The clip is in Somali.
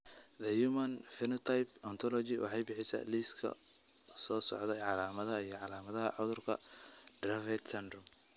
The Human Phenotype Ontology waxay bixisaa liiska soo socda ee calaamadaha iyo calaamadaha cudurka Dravet syndrome.